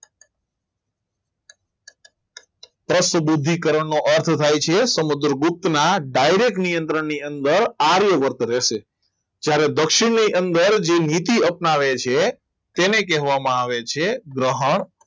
દોસ્ત બુદ્ધિકરણ નો અર્થ થાય છે સમુદ્રગુપ્ત ના ડાયરેક્ટ નિયંત્રણ ની અંદર આર્યવર્ત રહેશે ત્યારે દક્ષિણની અંદર જે નીતિ અપનાવે છે તેને કહેવામાં આવે છે ગ્રહણ